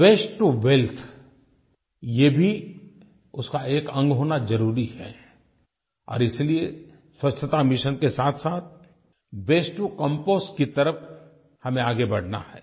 वास्ते to wealth ये भी उसका एक अंग होना ज़रूरी है और इसलिये स्वच्छता मिशन के साथसाथ वास्ते टो कंपोस्ट की तरफ़ हमें आगे बढ़ना है